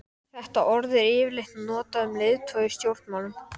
hvaða sýnir birtast mér aftur, ó dóttir mín.